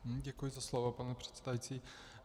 Děkuji za slovo, pane předsedající.